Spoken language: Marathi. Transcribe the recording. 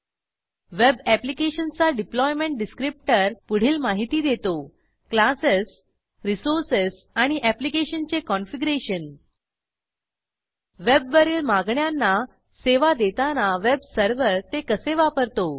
वेब ऍप्लिकेशनचा डिप्लॉयमेंट डिसक्रिप्टर पुढील माहिती देतो क्लासेस रिसोर्सेस आणि ऍप्लिकेशनचे कॉनफिगरेशन वेबवरील मागण्यांना सेवा देताना वेब सर्व्हर ते कसे वापरतो